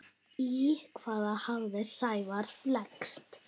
Í hvað hafði Sævar flækst?